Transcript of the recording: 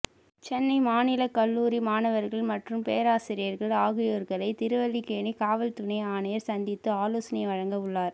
சென்னை மாநிலக் கல்லூரி மாணவர்கள் மற்றும் பேராசிரியர்கள் ஆகியோர்களை திருவல்லிக்கேணி காவல் துணை ஆணையர் சந்தித்து ஆலோசனை வழங்க உள்ளார்